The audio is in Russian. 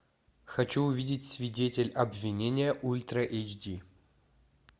хочу увидеть свидетель обвинения ультра эйч ди